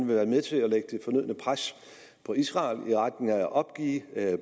vil være med til at lægge det fornødne pres på israel i retning af at opgive